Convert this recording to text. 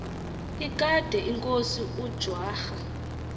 ekade inkosi ujwara